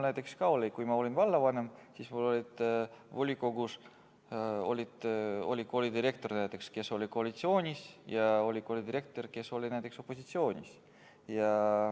Kui ma olin vallavanem, siis oli volikogus näiteks koolidirektor, kes oli koalitsioonis, ja oli koolidirektor, kes oli opositsioonis.